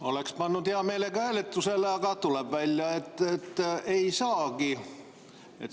Oleks pannud hea meelega hääletusele, aga tuleb välja, et ei saagi.